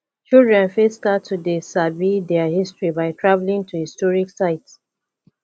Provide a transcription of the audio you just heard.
children fit start to dey sabi their history by travelling to historic site